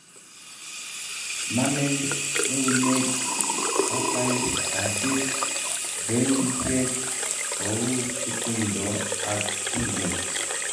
namei euneg, patai, katit joindisieg ko u kutundo ak kelyeg